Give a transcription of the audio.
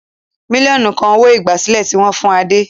Mílíọ̀nù kan owó-ìgbàsílẹ̀ tí wọ́n fún Adé.